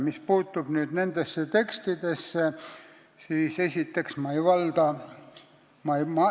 Mis puutub sellesse teksti, siis esiteks, ma ei valda seda.